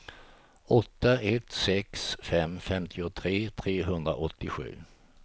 åtta ett sex fem femtiotre trehundraåttiosju